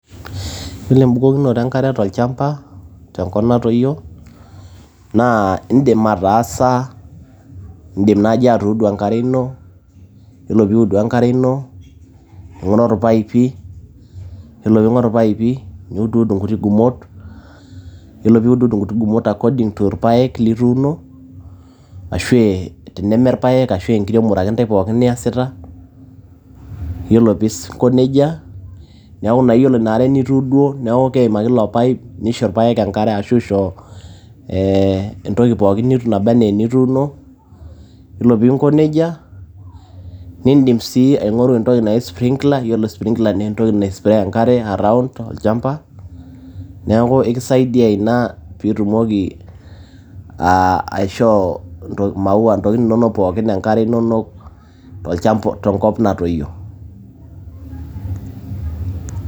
Yiolo embukokinoto enkare tolchamba tenkop natoyio naa indim ataasa ,indim naji atuudu enkare ino yiolo piudu enkare ino ,ningoru irpaipi ,yiolo pingoru irpaipi niud inkuti gumot ,yiolo piud inkuti gumot according torpaek lituuno ashe teneme irpaek ashu enkiremore ake ntae pookin niasita .yiolo pinko nejia niaku naa iyiolo inaa are nituuduo niaku keim ake ilo pipe nisho irpaek enkare ashu isho ashu isho ee entoki pookin naba anaa enituuno. yiolo pinko nejia nindim si aingoru entoki naji sprinkler yiolo sii sprinkler naa entoki nai spray enkare around tolchamba niaku ekisaidia ina pitumoki aishoo aa maua a ntokitikin inonok pookin enkare inonok tolchamb tenkop natoyio.